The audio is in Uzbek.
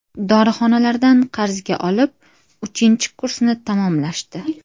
Dorixonalardan qarzga olib, uchinchi kursni tamomlashdi.